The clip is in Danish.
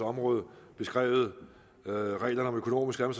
område beskrevet reglerne om økonomiske og